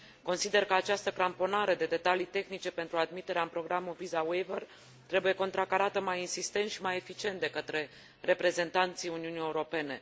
Consider că această cramponare de detalii tehnice pentru admiterea în programul Visa Waiver trebuie contracarată mai insistent și mai eficient de către reprezentanții Uniunii Europene.